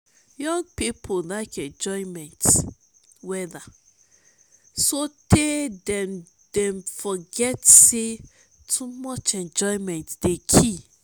young pipo lyk enjoyment wella sotay dem forget sey too much enjoyment dey kill